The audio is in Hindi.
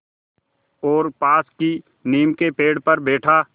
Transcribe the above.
और पास की नीम के पेड़ पर बैठा